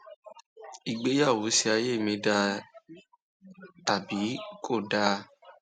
ìgbéyàwó ṣe ayé mi dáa um tàbí kò dáa